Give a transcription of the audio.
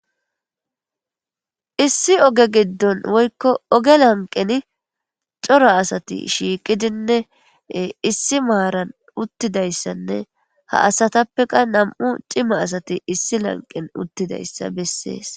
issi oge giddon woykko oge lanqeni cora asati shiiqidinne issi maaran uttidayssanne ha asatappeqa nam7u cima asati issi lanqen uttidayssa bessees